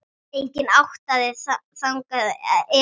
Enginn átti þangað erindi.